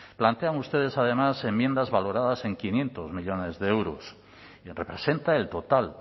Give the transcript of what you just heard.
plantean ustedes además enmiendas valoradas en quinientos millónes de euros y representa el total